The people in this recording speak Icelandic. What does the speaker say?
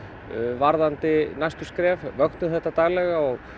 varðandi næstu skref vöktum þetta daglega og